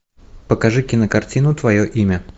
покажи кинокартину твое имя